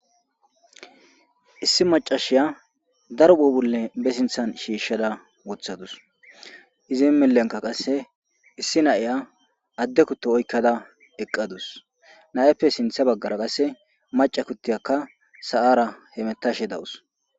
Issi maccasiya daro phuphulle ba sinththan shiishada woththadus izi milleka qasse issi na'iya adde kutto oykkada eqqadus nayappe sinththe baggara qasse macca kuttiyaka sa'ara hemetashe dawus.